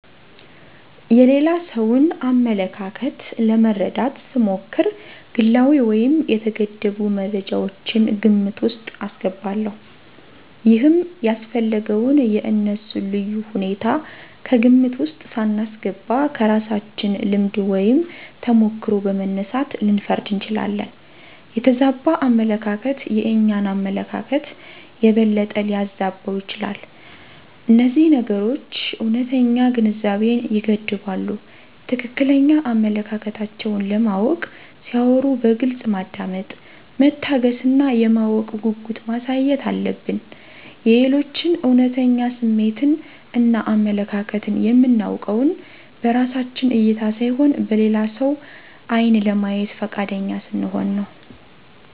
የሌላ ሰውን አመለካከት ለመረዳት ስሞክር ግላዊ ወይም የተገደቡ መረጃወችን ግምት ውስጥ አስገባለሁ። ይሄም ያስፈለገው የእነሱን ልዩ ሁኔታ ከግምት ውስጥ ሳናስገባ ከራሳችን ልምድ ወይም ተሞክሮ በመነሳት ልንፈርድ እንችላለን። የተዛባ አመለካከት የእኛን አመለካከት የበለጠ ሊያዛባው ይችላል። እነዚህ ነገሮች እውነተኛ ግንዛቤን ይገድባሉ። ትክክለኛ አመለካከታቸውን ለማወቅ ሲያወሩ በግልጽ ማዳመጥ፣ መታገስ እና የማወቅ ጉጉት ማሳየት አለብን። የሌሎችን እውነተኛ ስሜትን እና አመለካከትን የምናውቀውን በራሳችን እይታ ሳይሆን በሌላ ሰው ዓይን ለማየት ፈቃደኛ ስንሆን ነው።